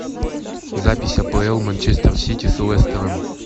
запись апл манчестер сити с лестером